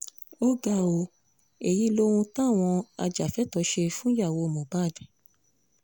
ó ga ọ́ èyí lohun táwọn ajàfẹ́tọ̀ọ́ ṣe fúnyàwó mohbad